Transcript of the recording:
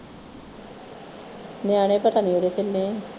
ਨਿਆਣੇ ਪਤਾ ਨਹੀਂ ਓਹਦੇ ਕਿੰਨੇ ਹੈ